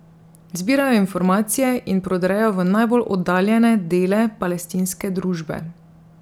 Zbirajo informacije in prodrejo v najbolj oddaljene dele palestinske družbe.